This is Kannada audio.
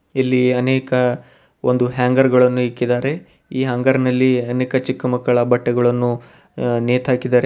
ಇಲ್ಲಿ ಅನೇಕ ಒಂದು ಹ್ಯಾಂಗರ್ ಗಳನ್ನು ಇಕ್ಕಿದ್ದಾರೆ ಈ ಹ್ಯಾಂಗರ್ ನಲ್ಲಿ ಅನೇಕ ಚಿಕ್ಕ ಮಕ್ಕಳ ಬಟ್ಟೆಗಳನ್ನು ಆ- ನೇತಾಕಿದಾರೆ.